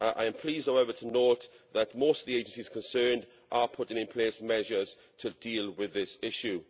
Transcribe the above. I am pleased, however, to note that most of the agencies concerned are putting in place measures to deal with this issue.